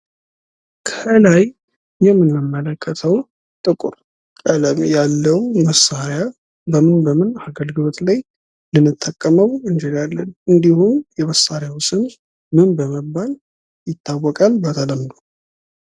ከላይ የምንመለከተው ጥቁር ቀለም ያለው መሳሪያ በምን በምን አገልግሎት ላይ ልንጠቀመው እንችላለን? እንድሁም የመሳሪያው ስም በመባል ይታወቃል በተለምዶ?